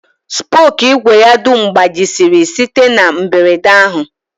Spookụ ìgwè ya dum gbajisịrị site na mberede ahụ